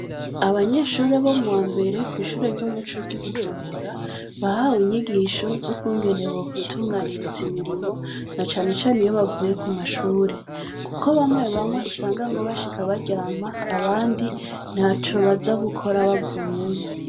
Abanyeshure bo mu wambere, kw’ishure ry’umuco ry’ i Bujumbura, bahawe inyigisho z’ukungene bokwitunganiriza imirimo, na cane cane iyo bavuye ku ma shure; kuko bamwe bamwe usanga ngo bashika baryama, abandi ntaco baza gukora bavuyeyo.